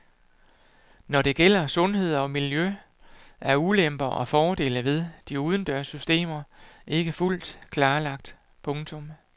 Når det gælder sundhed og miljø er ulemper og fordele ved de udendørs systemer ikke fuldt klarlagt. punktum